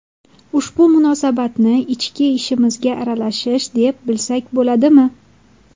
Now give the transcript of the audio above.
Ushbu munosabatni ichki ishimizga aralashish, deb bilsak bo‘ladimi?